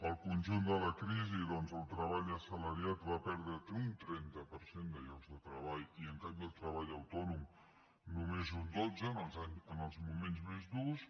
al conjunt de la crisi doncs el treball assalariat va perdre un trenta per cent de llocs de treball i en canvi el treball autònom només un dotze en els moments més durs